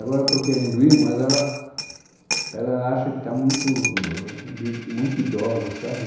Agora eu estou querendo ir, mas ela ela acha que está muito... li muito idosa, sabe?